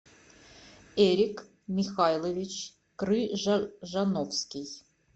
эрик михайлович крыжановский